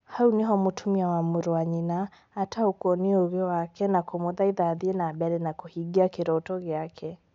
Hau nĩho mũtumia wa mũrwa nyina ataũkwo nĩ ũũgĩ wake na kũmuthaitha athiĩ na mbere na kũhingia kĩroto gĩake